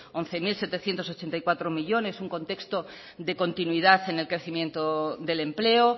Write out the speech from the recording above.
once mil setecientos ochenta y cuatro millónes un contexto de continuidad en el crecimiento del empleo